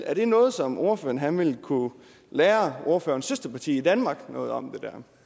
er det noget som ordføreren vil kunne lære ordførerens søsterparti i danmark noget om